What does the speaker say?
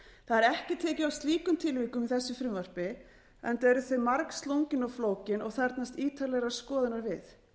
er tekið á slíkum tilvikum í þessu frumvarpi enda eru þau margslungin og flókin og þarfnast ítarlegrar skoðunar við því er